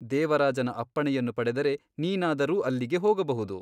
ದೇವರಾಜನ ಅಪ್ಪಣೆಯನ್ನು ಪಡೆದರೆ ನೀನಾದರೂ ಅಲ್ಲಿಗೆ ಹೋಗಬಹುದು.